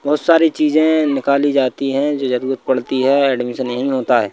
बहुत सारी चीजें निकाली जाती हैं जो जरूरत पड़ती है एडमिशन यही होता है।